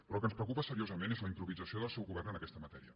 però el que ens preocupa seriosament és la improvisació del seu govern en aquesta matèria